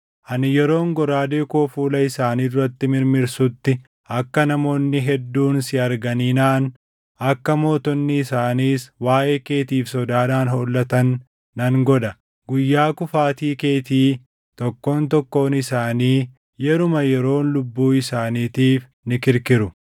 Ani yeroon goraadee koo fuula isaanii duratti mirmirsutti akka namoonni hedduun si arganii naʼan, akka mootonni isaaniis waaʼee keetiif sodaadhaan hollatan nan godha. Guyyaa kufaatii keetii tokkoon tokkoon isaanii yeruma yeroon lubbuu isaaniitiif ni kirkiru.